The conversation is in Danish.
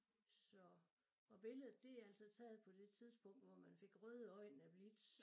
Så og billedet det altså taget på det tidspunkt hvor man fik røde øjne af blitz